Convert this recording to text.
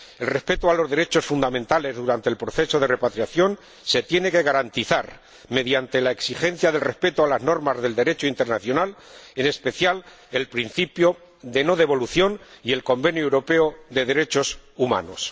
El respeto de los derechos fundamentales durante el proceso de repatriación se tiene que garantizar mediante la exigencia del respeto de las normas del Derecho internacional, en especial el principio de no devolución y el Convenio Europeo de Derechos Humanos.